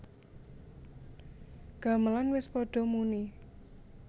Gamelan wis padha muni